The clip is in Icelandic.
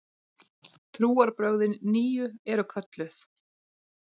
Trúarbrögðin nýju eru kölluð